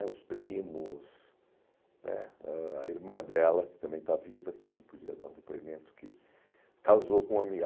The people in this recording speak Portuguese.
é Os primos né, a irmã dela, que também está viva, que também podia dar um depoimento, que casou com uma amiga.